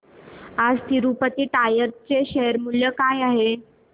आज तिरूपती टायर्स चे शेअर मूल्य काय आहे